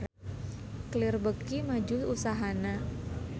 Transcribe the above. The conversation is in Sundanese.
Clear beuki maju usahana